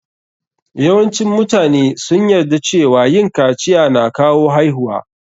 Yawancin mutane sun yarda cewa yin kaciya na kawo haihuwa.